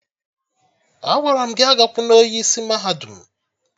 Agwara m gị agakwuna onye isi mahadum!